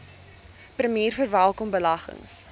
premier verwelkom beleggings